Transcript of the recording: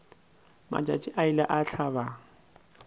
matšatši a ile a hlaba